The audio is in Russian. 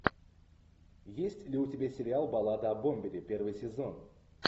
есть ли у тебя сериал баллада о бомбере первый сезон